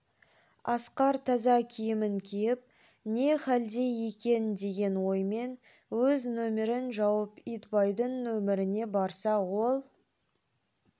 асқар таза киімін киіп не халде екен деген оймен өз нөмерін жауып итбайдың нөмеріне барса ол